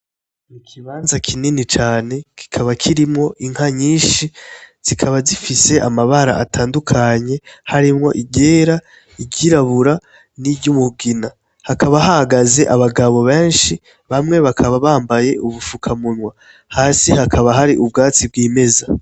Mu kibanza kinini cane kikaba kirimwo inka nyinshi, zikaba zifise amabara atandukanye, harimwo iryera, iryirabura, n'iryumugina, hakaba hahagaze abagabo benshi, bamwe bakaba bambaye ubufukamunwa, hasi hakaba hari ubwatsi bw'imeza.